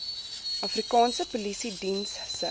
afrikaanse polisiediens se